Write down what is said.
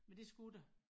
Men det skulle der